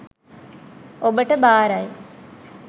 ඔබට බාරයි.